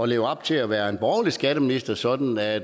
leve op til at være en borgerlig skatteminister sådan at